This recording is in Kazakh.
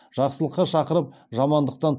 жақсылыққа шақырып жамандықтан